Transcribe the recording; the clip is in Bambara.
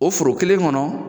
O foro kelen kɔnɔ